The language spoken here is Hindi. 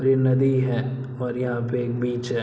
और ये नदी है और यहाँ पे बीच है।